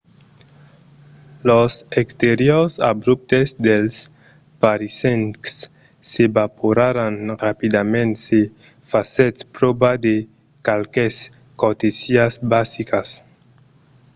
los exteriors abruptes dels parisencs s'evaporaràn rapidament se fasètz pròva de qualques cortesiás basicas